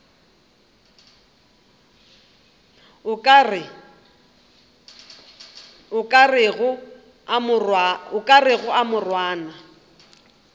o ka rego a morwana